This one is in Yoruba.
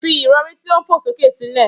Fi ìrọ̀rí tí ó ń fò sókè sílẹ̀